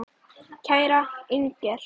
Kæra Inger.